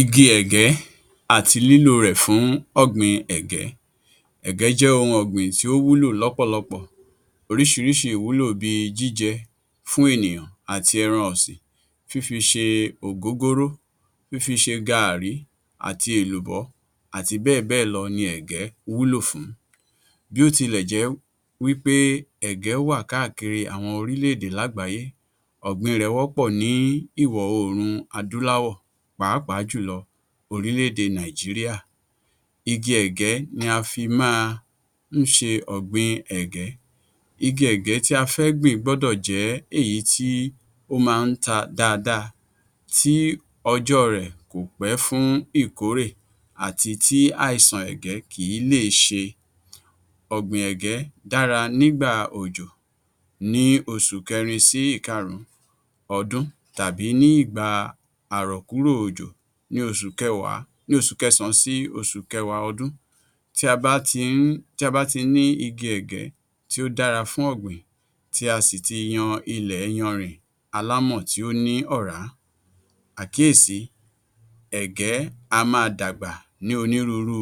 Igi ẹ̀gẹ́ àti lílò rè fún ọ̀gbìn ẹ̀gẹ́. Ẹ̀gẹ́ jẹ́ ohun ọ̀gbìn tí ó wúlò lọ́pọ̀lọpọ̀, oríṣirísi ìwúlò bí i jíjẹ fún ènìyàn àti ẹran ọ̀sìn, fífi ṣe ògógóró, fífi ṣe gaàrí, àti èlùbọ́ àti bẹ́ẹ̀ bẹ́ẹ̀ lọ ni ẹ̀gẹ́ wúlò fún. Bí ó tilẹ̀ jẹ́ wí pé ẹ̀gẹ́ wà káàkiri àwọn orílẹ̀-èdè lágbàáyé, ọ̀gbìn rẹ̀ wọ́pọ̀ ní ìwọ̀-oòrùn adúláwọ̀ pàápàá jùlọ orílẹ̀-èdè Nàìjíríà, igi ẹ̀gẹ́ ni a fi máa ń ṣe ọ̀gbìn ẹ̀gẹ́. Igi ẹ̀gẹ́ tí a fẹ́ gbìn gbọ́dọ̀ jẹ́ èyí tí ó máa ń ta dáadáa tí ọjọ́ rẹ̀ kò pé fún ìkórè àti tí àìsàn ẹ̀gẹ́ kìí lè ṣe. Ọ̀gbìn ẹ̀gẹ́ dára ní ìgbà òjò ní oṣù kẹ́rin sí ìkarùn-ún ọdún tàbí ní ìgbà àrọ̀ kúrò òjò ní oṣù kẹsàn-án sí oṣù kẹwàá ọdún tí a bá ti ní ìgi ẹ̀gẹ́ tí ó dára fún ọ̀gbìn tí a sì ti yan ilẹ̀ iyanrìn alámọ̀ tí ó ní òrá, àkíyèsí ẹ̀gẹ́ á máa dàgbà ní onírúurú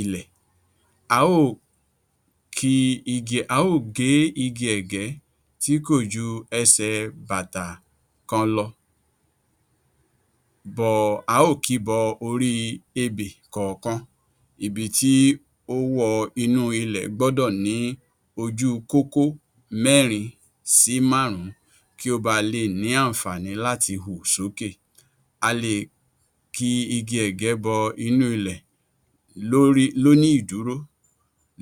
ilẹ̀, a ó ò gé igi ẹ̀gẹ́ tí kò ju ẹsẹ̀ bàtà kan lọ, a ó ò kìí bọ orí ebè kọ̀ọ̀kan ibi tí ó wọ inú ilẹ̀ gbọ́dọ̀ ní ojú kókó mẹ́rin sí márùn-ún kí ó ba a lè ní àǹfààní láti hù sókè, a le ki igi ẹ̀gẹ́ bọ inú ilẹ̀ lóní ìdúrò,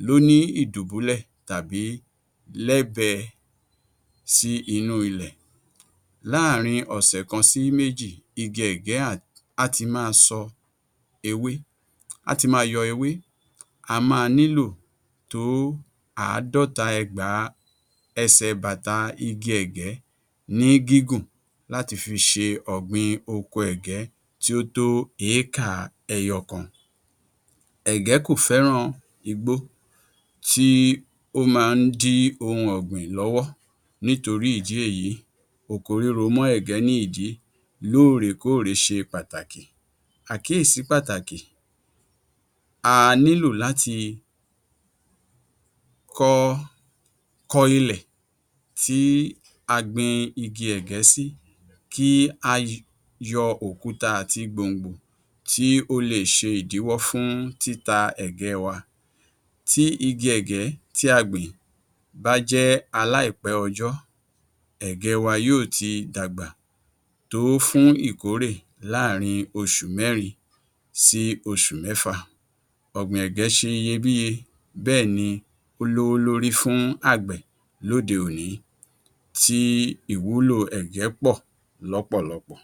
lóní ìdùbúlẹ̀ tàbí lẹ́bẹ sí inú ilẹ̀, láàárin ọ̀sẹ̀ kan sí méjì, igi ẹ̀gẹ́ á ti máa yọ ewé, a máa nílò tó àádọ́ta ẹgbàá ẹsẹ̀ bàtà igi ẹ̀gẹ́ ní gígùn láti fi ṣe ọ̀gbìn oko ẹ̀gẹ́ tí ó tó eékà ẹyọkan, ẹ̀gẹ́ kò fẹ́ràn igbó tí ó máa ń dí ohun ọ̀gbìn lọ́wọ́ nítorí ìdí èyí oko ríro mọ ẹ̀gẹ́ ní ìdí lóòrè kóòrè ṣe pàtàkì. Àkíyèsí pàtàkì; a nílò láti kọ ilẹ̀ tí a gbin igi ẹ̀gẹ́ sí kí a yọ òkúta àti gbòǹgbò tí ó le è ṣe ìdíwọ́ fún títa ẹ̀gẹ́ wa, tí igi ẹ̀gẹ́ tí a gbìn bá jẹ́ aláìpẹ́ ọjọ́, ẹ̀gẹ́ wa yóò ti dàgbà tó fún ìkórè láàárin oṣù mẹ́rin sí oṣù mẹ́fà, ọ̀gbìn ẹ̀gẹ́ ṣe iyebíye bẹ́ẹ̀ni ó lówó lórí fún àgbẹ̀ lóde-òní, ti ìwúlò ẹ̀gẹ́ pọ̀ lọ́pọ̀lọpọ̀.